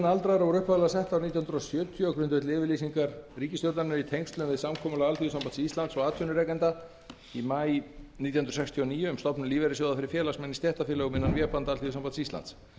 aldraðra voru upphaflega sett árið nítján hundruð sjötíu á grundvelli yfirlýsingar ríkisstjórnarinnar í tengslum við samkomulag alþýðusambands íslands og atvinnurekenda í maí nítján hundruð sextíu og níu um stofnun lífeyrissjóða fyrir félagsmenn í stéttarfélögum innan vébanda alþýðusambands íslands